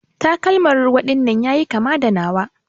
Takalman ruwa dinnan yayi kama da nawa.